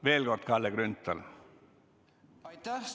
Veel kord Kalle Grünthal, palun!